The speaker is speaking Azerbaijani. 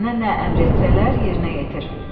Sənə nə əmr etsələr, yerinə yetir.